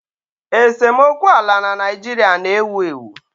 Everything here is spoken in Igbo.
Esemokwu ala na Naịjirịa na-ewu ewu